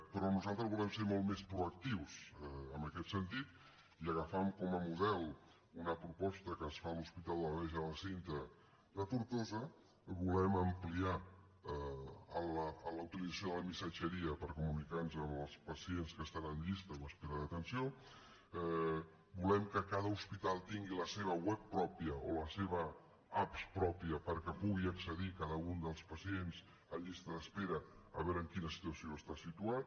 però nosaltres volem ser molt més proactius en aquest sentit i agafant com a model una proposta que ens fa l’hospital de la verge de la cinta de tortosa volem ampliar la utilització de la missatgeria per comunicar nos amb els pacients que estan en llista o espera d’atenció volem que cada hospital tingui la seva web pròpia o la seva app pròpia perquè pugui accedir cada un dels pacients en llista d’espera a veure en quina situació està situat